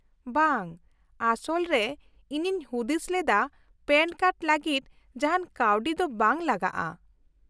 -ᱵᱟᱝ, ᱟᱥᱚᱞ ᱨᱮ ᱤᱧᱤᱧ ᱦᱩᱫᱤᱥ ᱞᱮᱫᱟ ᱯᱮᱹᱱ ᱠᱟᱨᱰ ᱞᱟᱹᱜᱤᱫ ᱡᱟᱦᱟᱱ ᱠᱟᱹᱣᱰᱤ ᱫᱚ ᱵᱟᱝ ᱞᱟᱜᱟᱜᱼᱟ ᱾